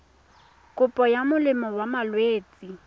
kopo ya molemo wa malwetse